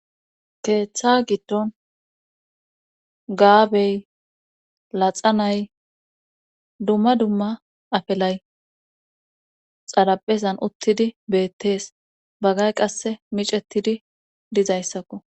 Keeththa giddon gaabe laxa na'ay dumma dumma afelay xaraphezan uttidi beettees. Bagay qassi miccettidi diza izzakko.